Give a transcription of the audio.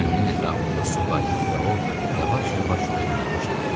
Gəminin ətrafında su qaynadı və o yavaş-yavaş dönməyə başladı.